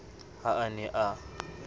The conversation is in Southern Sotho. ha a ne a na